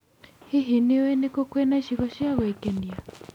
Hihi, nĩ ũĩ nĩ kũ kwĩna icigo cia gwĩkenia?